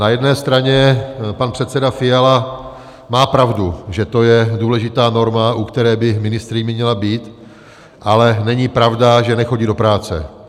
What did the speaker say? Na jedné straně pan předseda Fiala má pravdu, že to je důležitá norma, u které by ministryně měla být, ale není pravda, že nechodí do práce.